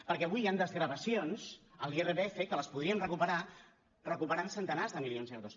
perquè avui hi han desgravacions en l’irpf que les podríem recuperar recuperant centenars de milions d’euros